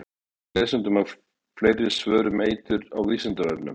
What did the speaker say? Við bendum lesendum á fleiri svör um eitur á Vísindavefnum.